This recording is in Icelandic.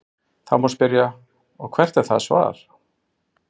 Þá má spyrja: Og hvert er það svar?.